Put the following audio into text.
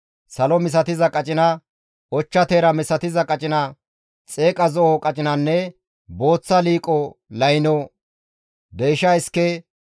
salo misatiza qacina, ochcha teera misatiza qacina, xeeqa zo7o qacinanne booththa liiqo layno, deysha iske,